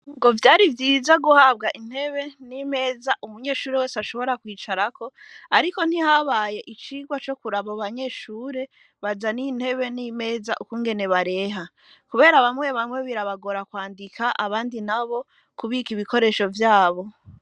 Ngo vyari vyiza guhabwa intebe n'imeza umunyeshure wese ashobora kwicarako, ariko ntihabaye icirwa co kurabo banyeshure baza n'intebe n'imeza ukungene bareha, kubera bamwe bamwe birabagora kwandika abandi na bo kubika ibikoresho vyabo.